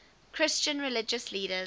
christian religious leaders